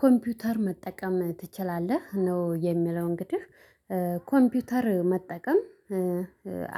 ኮምፒተር መጠቀም ትችላለህ ነው? የሚለው እንግዲህ ኮምፒተር መጠቀም